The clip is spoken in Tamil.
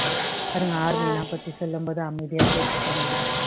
அதுங்க army ல பத்தி சொல்லும் போது அமைதியா கேட்டுட்டு இருந்ததுங்க